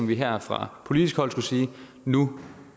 vi her fra politisk hold sige nu